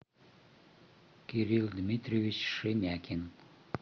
кирил дмитриевич шемякин